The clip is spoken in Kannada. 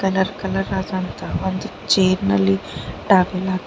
ಕಲರ್ ಕಲರ್ ಆದಂತ ಒಂದು ಚೇರ್ ನಲ್ಲಿ ಟವೆಲ್ ಹಾಕಿ.